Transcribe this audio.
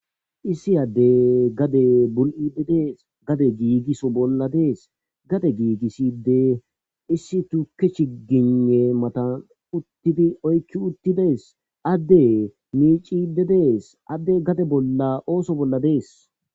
Issi adde gade bul7ide de7ees. Gade giigiso bolla de7es. Gade giigiside issi tuke chigine matan uttidi oykki uttidees. Adde miicide dees. Adde gade bolla ooso bolla de7ees.